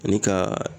Ani ka